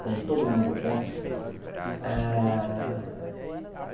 com todo mundo contra. Ah